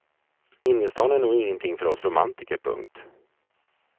Innerstan är nog ingenting för oss romantiker. punkt